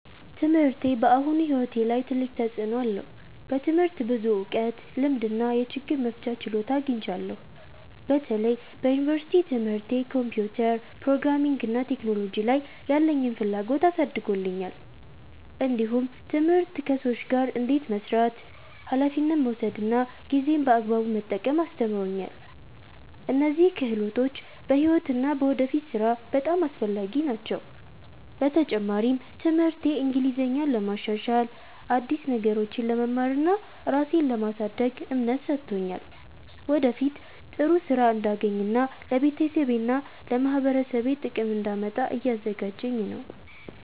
ትምህርቴ በአሁኑ ሕይወቴ ላይ ትልቅ ተፅዕኖ አለው። በትምህርት ብዙ እውቀት፣ ልምድ እና የችግር መፍቻ ችሎታ አግኝቻለሁ። በተለይ በዩኒቨርሲቲ ትምህርቴ ኮምፒውተር፣ ፕሮግራሚንግ እና ቴክኖሎጂ ላይ ያለኝን ፍላጎት አሳድጎልኛል። እንዲሁም ትምህርት ከሰዎች ጋር እንዴት መስራት፣ ኃላፊነት መውሰድ እና ጊዜን በአግባቡ መጠቀም አስተምሮኛል። እነዚህ ክህሎቶች በሕይወት እና በወደፊት ሥራ በጣም አስፈላጊ ናቸው። በተጨማሪም ትምህርቴ እንግሊዝኛን ለማሻሻል፣ አዲስ ነገሮችን ለመማር እና ራሴን ለማሳደግ እምነት ሰጥቶኛል። ወደፊት ጥሩ ሥራ እንዳገኝ እና ለቤተሰቤና ለማህበረሰቤ ጥቅም እንዳመጣ እያዘጋጀኝ ነው።